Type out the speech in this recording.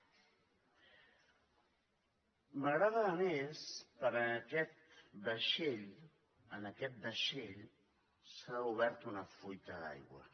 m’agrada a més perquè en aquest vaixell s’ha obert una fuita d’aigua